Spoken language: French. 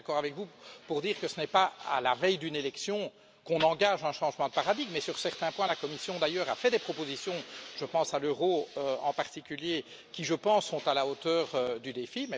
Je suis d'accord avec vous pour dire que ce n'est pas à la veille d'une élection qu'on engage un changement de paradigme mais sur certains points la Commission d'ailleurs a fait des propositions, je pense à l'Euro en particulier qui, je pense, sont à la hauteur du défi